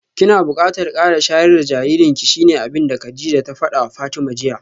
Kina bukatar kara shayar da jaririnki shine abinda Kadijah ta fadawa Fatima jiya